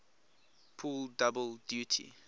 pull double duty